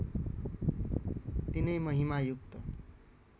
तिनै महिमा युक्त